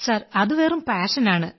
sir അതു വെറും പാഷനാണ്